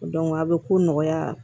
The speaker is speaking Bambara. a bɛ ko nɔgɔya